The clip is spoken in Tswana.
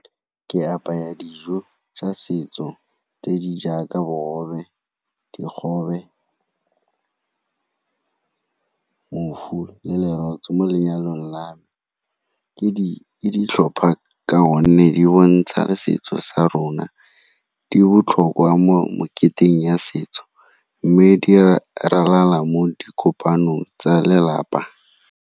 Ke apaya dijo tsa setso tse di jaaka bogobe, dikgobe, phofu le lerotse mo lenyalong la me. Ke ditlhopha ka gonne di bontsha setso sa rona, di botlhokwa mo moketeng ya setso mme di ralala mo di kopanong tsa lelapa.